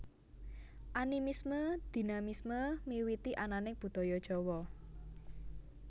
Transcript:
Animisme Dinamisme miwiti ananing Budaya Jawa